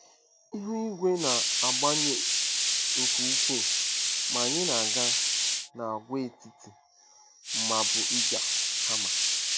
Ihu igwe na-agbanwe nke ukwuu, ma anyị na-aga n'Agwaetiti Mabuiag kama.